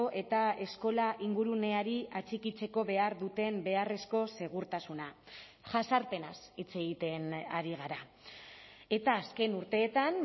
eta eskola inguruneari atxikitzeko behar duten beharrezko segurtasuna jazarpenaz hitz egiten ari gara eta azken urteetan